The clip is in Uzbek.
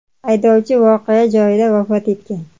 haydovchi voqea joyida vafot etgan.